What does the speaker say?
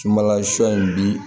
Sumanla sɔ in bi